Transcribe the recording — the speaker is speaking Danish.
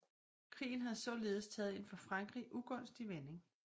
Krigen havde således taget en for Frankrig ugunstig vending